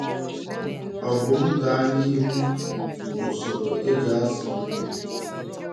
Ọ bụ m gaa nihu na ụsoro eji azụ nni?